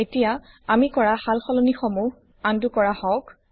এতিয়া আমি কৰা সাল সলনিসমূহ আন্ডু কৰা হওঁক